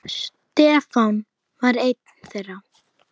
Stefán var einn þeirra.